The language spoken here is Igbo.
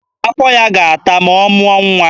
Afọ ya ga-ata ma ọ mụọ nwa.